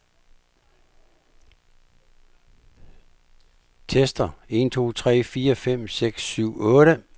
Tester en to tre fire fem seks syv otte.